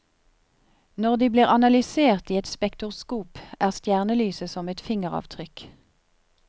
Når de blir analysert i et spektroskop, er stjernelyset som et fingeravtrykk.